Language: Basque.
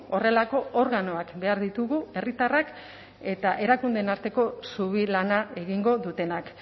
horrelako organoak behar ditugu herritarrak eta erakundeen arteko zubi lana egingo dutenak